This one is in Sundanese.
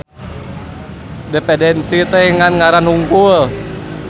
Dependensi teh ngan ngaran hungkul.